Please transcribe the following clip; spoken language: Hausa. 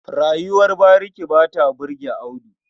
Rayuwar bariki ba ta burge Audu.